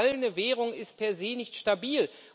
Eine zerfallende Währung ist per se nicht stabil.